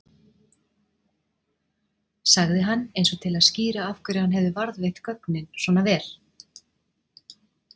sagði hann eins og til að skýra af hverju hann hefði varðveitt gögnin svona vel.